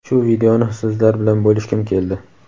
shu videoni sizlar bilan bo‘lishgim keldi.